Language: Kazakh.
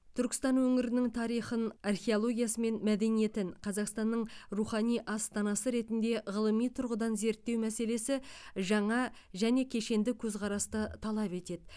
түркістан өңірінің тарихын археологиясы мен мәдениетін қазақстанның рухани астанасы ретінде ғылыми тұрғыдан зерттеу мәселесі жаңа және кешенді көзқарасты талап етеді